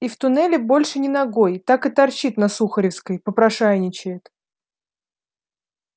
и в туннели больше ни ногой так и торчит на сухаревской попрошайничает